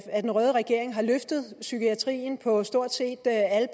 at den røde regering har løftet psykiatrien på stort set alle